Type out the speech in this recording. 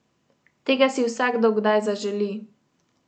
Tega si vsakdo kdaj zaželi!